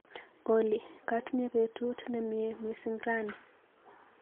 Olly, katinye betut nemnyee missing rani.